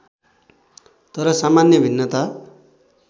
तर सामान्य भिन्नता